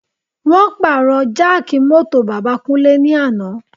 Wọ́n pàrọ̀ jáàkì mọ́tò bàbá Kúnlé ní àná